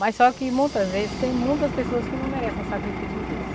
Mas só que muitas vezes tem muitas pessoas que não merecem um sacrifício desse.